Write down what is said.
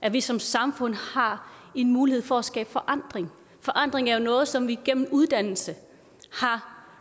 at vi som samfund har en mulighed for at skabe forandring forandring er jo noget som vi gennem uddannelse har